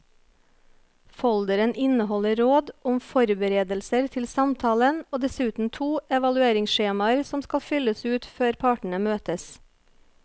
Folderen inneholder råd om forberedelser til samtalen og dessuten to evalueringsskjemaer som skal fylles ut før partene møtes.